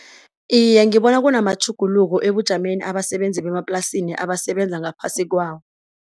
Iye ngibona kunamatjhuguluko ebujameni abasebenzi bemaplasini abasebenza ngaphasi kwawo.